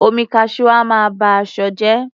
Omi Cashew a máa ba ṣọ jẹ́.